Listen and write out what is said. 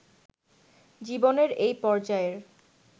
জীবনের এই পর্যায়ের